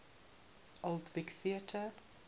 old vic theatre